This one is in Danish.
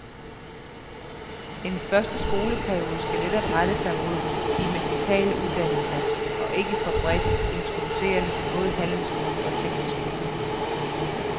En første skoleperiode skal netop rette sig mod de merkantile uddannelser og ikke være bredt introducerende til både handelsskolen og teknisk skole.